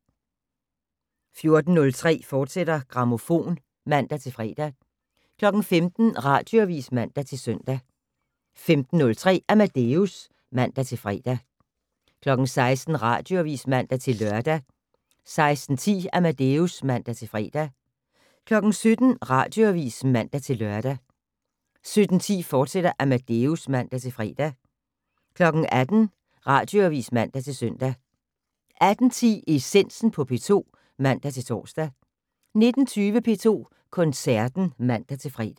14:03: Grammofon, fortsat (man-fre) 15:00: Radioavis (man-søn) 15:03: Amadeus (man-fre) 16:00: Radioavis (man-lør) 16:10: Amadeus (man-fre) 17:00: Radioavis (man-lør) 17:10: Amadeus, fortsat (man-fre) 18:00: Radioavis (man-søn) 18:10: Essensen på P2 (man-tor) 19:20: P2 Koncerten (man-fre)